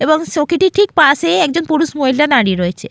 এবং সখীটির ঠিক পাশে একজন পুরুষ মহিলা দাঁড়িয়ে রয়েছে।